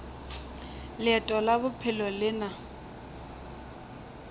leeto la bophelo le na